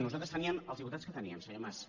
nosaltres teníem els diputats que teníem senyor mas